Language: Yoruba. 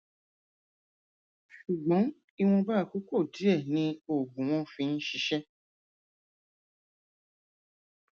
ṣùgbọn ìwọnba àkókò díẹ ni oògùn wọn fi ń ṣiṣẹ